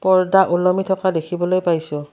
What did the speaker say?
পৰ্দা ওলমি থকা দেখিবলৈ পাইছোঁ।